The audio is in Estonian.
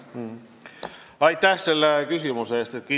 Aitäh selle küsimuse eest!